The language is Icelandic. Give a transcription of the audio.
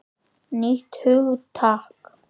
Nýtt hugtak!